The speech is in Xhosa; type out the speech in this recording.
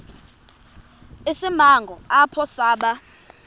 isimanga apho saba